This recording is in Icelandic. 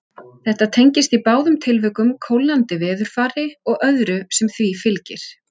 Þetta tengist í báðum tilvikum kólnandi veðurfari og öðru sem því fylgir.